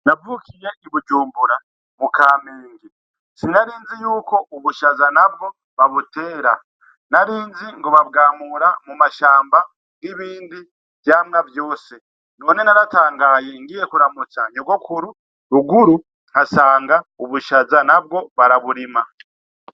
Navukiye i Bujumbura mu Kamenge sinarinzi yuko ubushaza nabwo babutera, narinzi ngo babwamura mu mashamba nkibindi vyamwa vyose, none naratangaye ngiye kuramutsa nyogokuru ruguru nkasanga ubushaza nabwo baraburima.